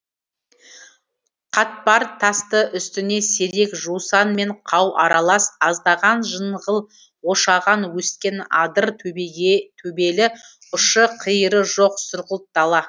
қатпар тасты үстіне сирек жусан мен қау аралас аздаған жынғыл ошаған өскен адыр төбелі ұшы қиыры жоқ сұрғылт дала